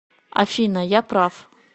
афина я прав